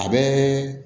A bɛ